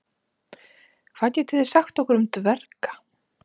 hvað getið þið sagt okkur um dverga